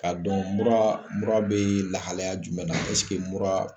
Ka dɔn mura bɛ lahalaya jumɛn na mura